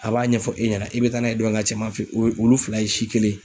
A b'a ɲɛfɔ e ɲɛna i bɛ taa n'a ye dɔ in ka cɛma fɛ ye wulu fila in si kelen.